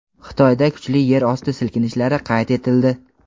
Xitoyda kuchli yer osti silkinishlari qayd etildi.